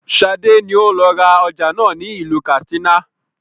Sade ni ó lọ ra ọjà náà ni ilu katsina